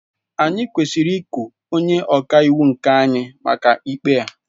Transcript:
Anyị kwesịrị iku onye ọka iwu nke anyị maka ikpe a.